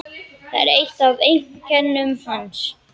Það er eitt af einkennum hans.